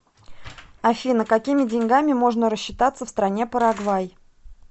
афина какими деньгами можно рассчитаться в стране парагвай